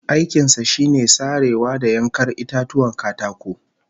Aikin sa shine sarewa da yankar itatuwan katako